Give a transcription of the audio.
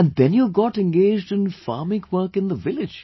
And then you got engaged in farming work in the village